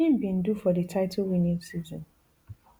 im bin do for di titlewinning season